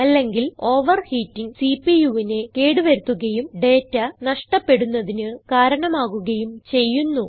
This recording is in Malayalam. അല്ലെങ്കിൽ ഓവർഹീറ്റിങ് CPUവിനെ കേട് വരുത്തുകയും ഡേറ്റ നഷ്ടപ്പെടുന്നതിന് കാരണമാകുകയും ചെയ്യുന്നു